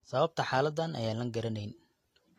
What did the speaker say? Sababta xaaladan ayaan la garanayn.